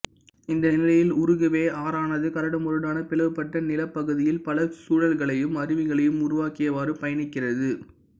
இந்த நிலையில் உருகுவே ஆறானது கரடுமுரடான பிளவுபட்ட நிலப்பகுதியில் பல சுழல்களையும் அருவிகளையும் உருவாக்கியவாறு பயணிக்கிறது